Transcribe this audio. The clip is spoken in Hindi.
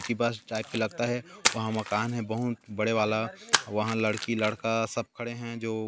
यह बस टाइप का लगता है वहाँ मकान है बहुत बड़े वाला वहाँ लड़की लड़का सब खड़े है जो --